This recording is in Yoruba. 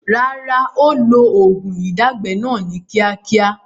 Rárá, ó ó lo oògùn ìdágbẹ́ náà ni kíákíá